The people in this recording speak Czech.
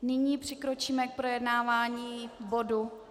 Nyní přikročíme k projednávání bodu